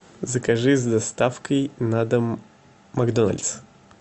закажи с доставкой на дом макдональдс